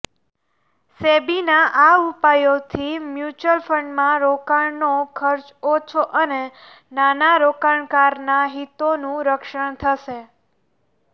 સેબીના આ ઉપાયોથી મ્યૂચ્યુઅલ ફંડમાં રોકાણનો ખર્ચ ઓછો અને નાના રોકાણકારોના હિતોનું રક્ષણ થશે